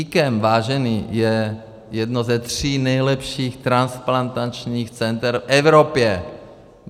IKEM, vážení, je jedno ze tří nejlepších transplantačních center v Evropě.